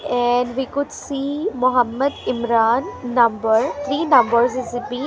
here we could see Mohammed Imran number three numbers is .